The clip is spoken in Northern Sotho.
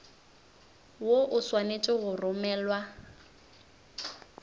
woo o swanetše go romelwa